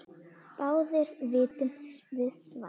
Báðir vitum við svarið